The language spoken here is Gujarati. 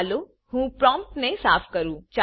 ચાલો હું પ્રોમ્પ્ટ ને સાફ કરું